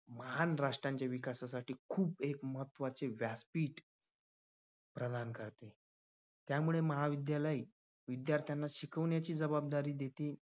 महान राष्ट्रांचे विकासासाठी खूप एक महत्त्वाचे व्यासपीठ प्रधान कर त्यामुळे महाविद्यालय विद्यार्थ्यांना शिकवण्याची जबाबदारी देते.